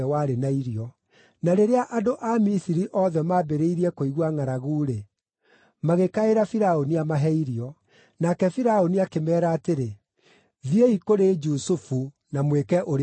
Na rĩrĩa andũ a Misiri othe maambĩrĩirie kũigua ngʼaragu-rĩ, magĩkaĩra Firaũni amahe irio. Nake Firaũni akĩmeera atĩrĩ, “Thiĩi kũrĩ Jusufu na mwĩke ũrĩa ekũmwĩra.”